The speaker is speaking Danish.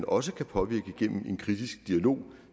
også kan påvirke gennem en kritisk dialog